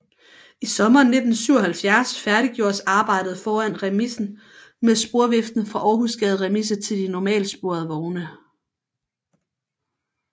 I sommeren 1977 færdiggjordes arbejdet foran remisen med sporviften fra Århusgade Remise til de normalsporede vogne